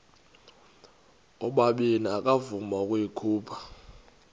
ubabini akavuma ukuyikhupha